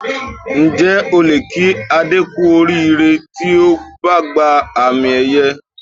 Ǹjẹ́ o lè kí Adé kú oríire tí ó bá gba àmì-ẹ̀yẹ?